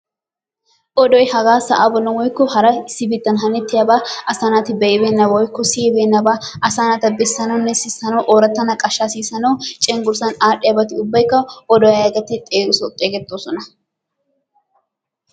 Odoy hagaa sa'aa bollan woykko issi biittan hanettiyabaa asaa naati be'ibeenna woykko siyibeennabaa asaa naata bessananne sissana ooratta naqaashaa sissanawu cenggurssan aadhdhiyabati ubbaykka oduwa yaagetti xeegettoosona.